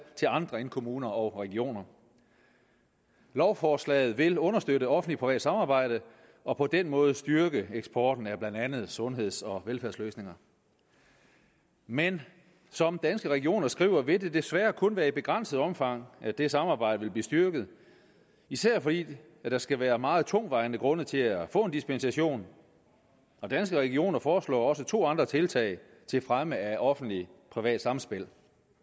til andre end kommuner og regioner lovforslaget vil understøtte offentlig privat samarbejde og på den måde styrke eksporten af blandt andet sundheds og velfærdsløsninger men som danske regioner skriver vil det desværre kun være i begrænset omfang at det samarbejde vil blive styrket især fordi der skal være meget tungtvejende grunde til at få en dispensation og danske regioner foreslår også to andre tiltag til fremme af offentlig privat samspil